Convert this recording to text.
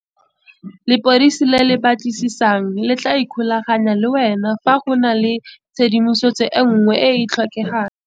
Lepodisi le le batlisisang le tla ikgolaganya le wena fa go na le tshedimosetso nngwe e e tlhokagalang.